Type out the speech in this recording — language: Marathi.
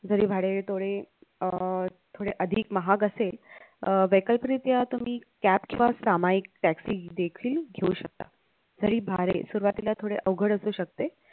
जरी भाडेतोडे अह थोडे अधिक महाग असेल अह या तुम्ही cab किंवा सामायिक taxi देखील घेऊ शकता जरी भाडे सुरवातीला थोडे अवघड असू शकते